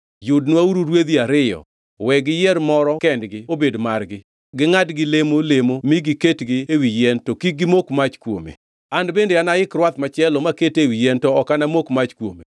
Yudnwauru rwedhi ariyo. We giyier moro kendgi obed margi, gingʼadgi lemo lemo mi giketgi ewi yien to kik gimok mach kuome. An bende anaik rwath machielo makete ewi yien to ok anamok mach kuome.